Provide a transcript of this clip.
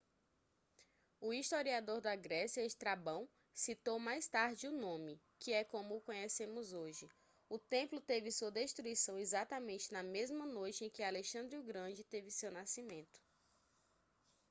o historiador da grécia estrabão citou mais tarde o nome que é como o conhecemos hoje o templo teve sua destruição exatamente na mesma noite em que alexandre o grande teve seu nascimento